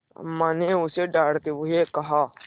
अम्मा ने उसे डाँटते हुए कहा